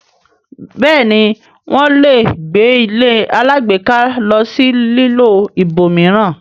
bẹẹni wón lẹ gbé ilé alágbèéká ló sì lilọ ibòmíràn.